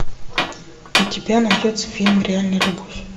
у тебя найдется фильм реальная любовь